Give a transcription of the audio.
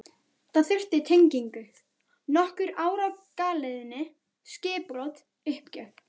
Það þurfti tengingu, nokkur ár á galeiðunni, skipbrot, uppgjöf.